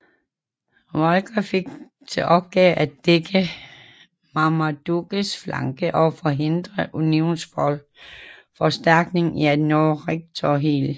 Walker fik til opgave at dække Marmadukes flanke og forhindre unionsforstærkninger i at nå Rightor Hill